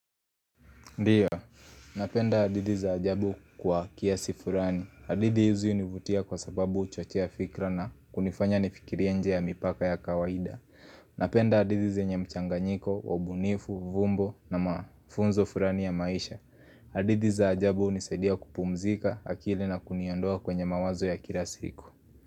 Ndiyo, napenda hadidhi za ajabu kwa kiasi furani. Hadidhi hizi hunivutia kwa sababu huchochea fikra na kunifanya nifikirie nje ya mipaka ya kawaida. Napenda hadidhi zenye mchanganyiko wa ubunifu, vumbo na mafunzo furani ya maisha. Hadidhi za ajabu hunisaidia kupumzika akili na kuniondoa kwenye mawazo ya kila siku.